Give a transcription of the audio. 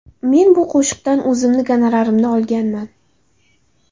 Men bu qo‘shiqdan o‘zimni gonorarimni olganman.